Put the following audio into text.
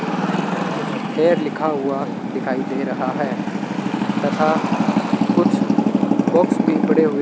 लिखा हुआ दिखाई दे रहा है तथा कुछ बॉक्स भी पड़े हुए --